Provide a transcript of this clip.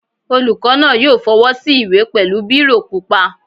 Olùkọ́ náà yóò fọwọ́ sí ìwé pẹ̀lú bírò pupa